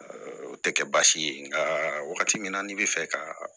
O tɛ kɛ baasi ye nka wagati min na n'i bɛ fɛ ka